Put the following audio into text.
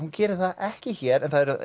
gerir það ekki hér